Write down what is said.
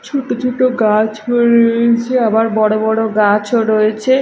ছোট ছোট গাছ হয়ে রয়েছে আবার বড় বড় গাছও রয়েছে।